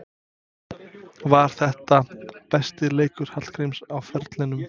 Var þetta besti leikur Hallgríms á ferlinum?